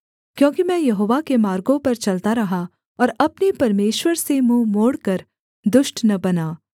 क्योंकि मैं यहोवा के मार्गों पर चलता रहा और अपने परमेश्वर से मुँह मोड़कर दुष्ट न बना